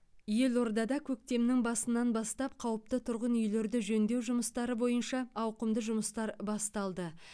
елордада көктемнің басынан бастап қауіпті тұрғын үйлерді жөндеу жұмыстары бойынша ауқымды жұмыстар басталды